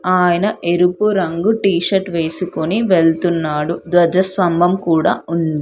ఆయన ఎరుపు రంగు టీషర్ట్ వేసుకొని వెళ్తున్నాడు. ధ్వజస్త్వంభం కూడా ఉంది.